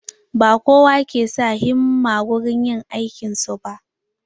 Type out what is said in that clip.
Ba kowa ke sa himma wurin yin aikin su ba.